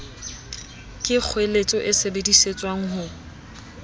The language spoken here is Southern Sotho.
ke kgoeletso e sebedisetswang ho